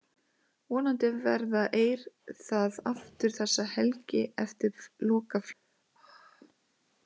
Vonandi verða eir það aftur þessa helgi eftir lokaflautið.